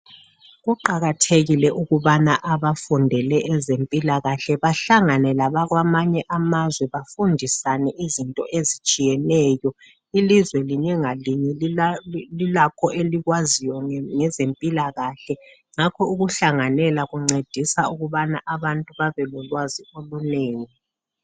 Kuqakathekile ukubana abafundele ezempilakahle bahlangane labakwamanye amazwe bafundisane izinto ezitshiyeneyo. Ilizwe linye ngalinye lilakho elikwaziyo ngezempilakahle ngakho ukuhlanganela kuncedisa ukubana abantu babe lolwazi olunengi.